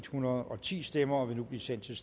hundrede og ti stemmer og vil nu blive sendt til